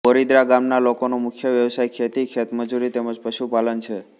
બોરિદ્રા ગામના લોકોનો મુખ્ય વ્યવસાય ખેતી ખેતમજૂરી તેમ જ પશુપાલન છે